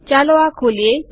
ચાલો આ ખોલીએ